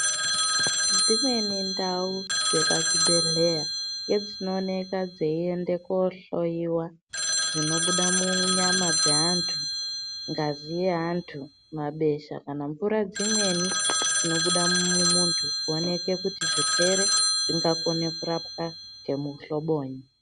Dzimweni ndau dzepachibhehleya ngedzinooneka dzeiende kohloyiwa zvinobuda munyama dzeantu ,ngazi yeantu ,mabesha kana mvura dzimweni dzinobuda mumuntu kuooneke kuti zvirwere zvingakone kurapwa ngemuhlobonyi.